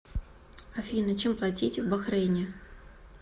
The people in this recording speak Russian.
афина чем платить в бахрейне